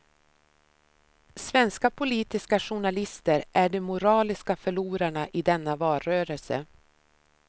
Svenska politiska journalister är de moraliska förlorarna i denna valrörelse.